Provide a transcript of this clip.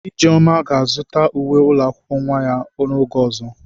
Ijeoma ga-azụta uwe ụlọ akwụkwọ nwa ya n'oge ọzọ.